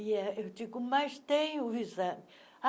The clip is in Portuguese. E eh eu digo, mas tem o exame?